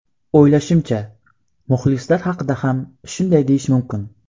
O‘ylashimcha, muxlislar haqida ham shunday deyish mumkin.